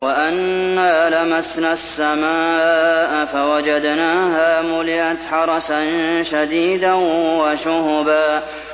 وَأَنَّا لَمَسْنَا السَّمَاءَ فَوَجَدْنَاهَا مُلِئَتْ حَرَسًا شَدِيدًا وَشُهُبًا